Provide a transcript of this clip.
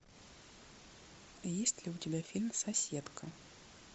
есть ли у тебя фильм соседка